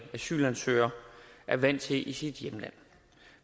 asylansøger er vant til i sit hjemland